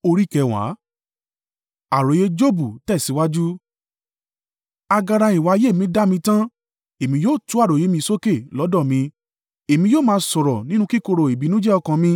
“Agara ìwà ayé mi dá mi tán; èmi yóò tú àròyé mi sókè lọ́dọ̀ mi èmi yóò máa sọ̀rọ̀ nínú kíkorò ìbìnújẹ́ ọkàn mi.